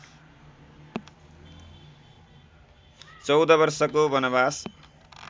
चौध वर्षको वनवास